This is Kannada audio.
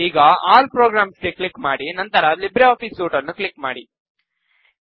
ಈಗ ಆಲ್ ಪ್ರೊಗ್ರಮ್ಸ್ ಗೆ ಕ್ಲಿಕ್ ಮಾಡಿ ನಂತರ ಲಿಬ್ರೆ ಆಫೀಸ್ ಸೂಟ್ ನ್ನು ಕ್ಲಿಕ್ ಮಾಡಿ